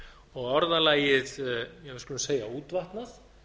og orðalagið við skulum segja útvatnað